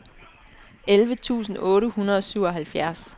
elleve tusind otte hundrede og syvoghalvfjerds